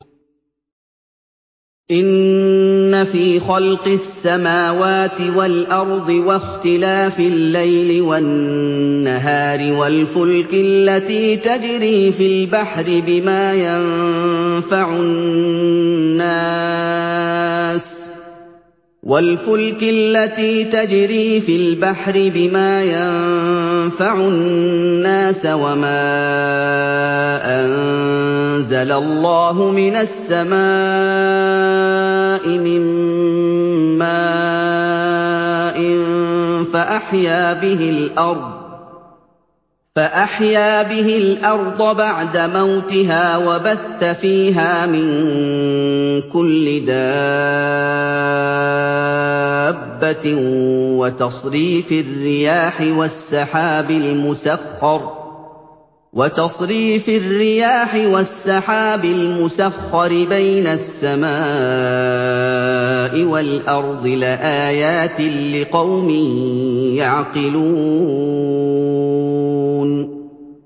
إِنَّ فِي خَلْقِ السَّمَاوَاتِ وَالْأَرْضِ وَاخْتِلَافِ اللَّيْلِ وَالنَّهَارِ وَالْفُلْكِ الَّتِي تَجْرِي فِي الْبَحْرِ بِمَا يَنفَعُ النَّاسَ وَمَا أَنزَلَ اللَّهُ مِنَ السَّمَاءِ مِن مَّاءٍ فَأَحْيَا بِهِ الْأَرْضَ بَعْدَ مَوْتِهَا وَبَثَّ فِيهَا مِن كُلِّ دَابَّةٍ وَتَصْرِيفِ الرِّيَاحِ وَالسَّحَابِ الْمُسَخَّرِ بَيْنَ السَّمَاءِ وَالْأَرْضِ لَآيَاتٍ لِّقَوْمٍ يَعْقِلُونَ